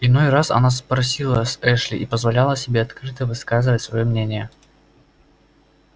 иной раз она спросила с эшли и позволяла себе открыто высказывать своё мнение